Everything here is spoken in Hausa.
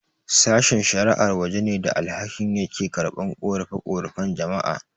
Sashen-shara'a waje ne da alkali yake karɓan ƙorafe-ƙorafen jama'a.